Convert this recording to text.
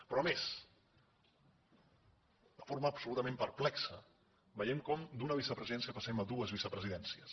però a més de forma absolutament perplexa veiem com d’una vicepresidència passem a dues vicepresidències